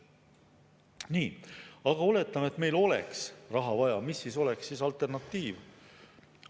Nii, aga oletame, et meil oleks raha vaja, siis mis oleks alternatiiv?